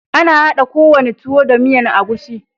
Ana hada ko wane tuwo da miyan egusi.